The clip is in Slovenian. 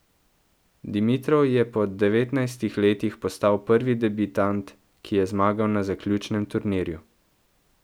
Dimitrov je po devetnajstih letih postal prvi debitant, ki je zmagal na zaključnem turnirju.